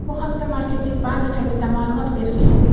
Bu haqda Markaziy bank saytida ma’lumot berilgan.